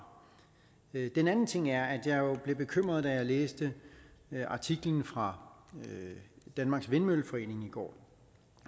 den anden ting er at jeg jo blev bekymret da jeg læste artiklen fra danmarks vindmølleforening i går